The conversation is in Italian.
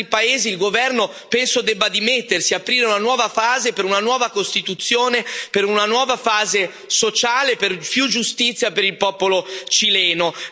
Come in altri paesi, il governo, penso, debba dimettersi, aprire una nuova fase per una nuova Costituzione, per una nuova fase sociale, per più giustizia per il popolo cileno.